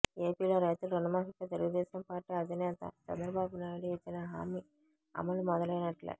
ఏపీలో రైతుల రుణమాఫీపై తెలుగుదేశం పార్టీ అధినేత చంద్రబాబునాయుడు ఇచ్చిన హామీ అమలు మొదలైనట్లే